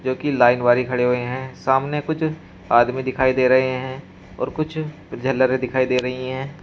की लाइन वाली खड़े हुए हैं सामने कुछ आदमी दिखाई दे रहे हैं और कुछ झालर दिखाई दे रही हैं।